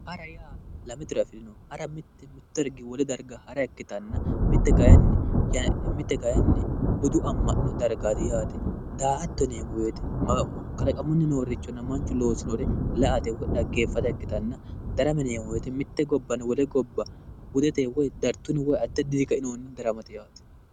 Hara yaa lame tiro afirino Mitte wole dariga hara ikkitanna mitte kayinni budu ama'no darigati yaate daa'atto yineemo woyite kalaqamunni noorichonna mannu loosinore la"ate woyi dhageefata ikkitanna darama yineemo woyite mitte gobbanni wole gobba Hudeteyi woyi addi addi coyinni kainohunni daramate yaate